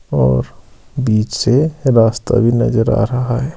और बीच से रास्ता भी नजर आ रहा है।